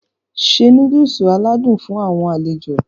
Se Núdúùsù aládùn fún àwọn alejo